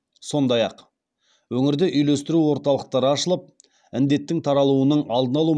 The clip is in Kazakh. сондай ақ өңірде үйлестіру орталықтары ашылып індеттің таралуының алдын алу